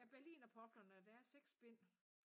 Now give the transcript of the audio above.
Ja berlinerpoplerne der er 6 bind